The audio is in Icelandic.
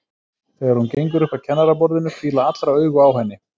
Þegar hún gengur upp að kennaraborðinu hvíla allra augu á henni.